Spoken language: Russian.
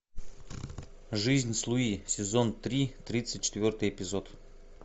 жизнь с луи сезон три тридцать четвертый эпизод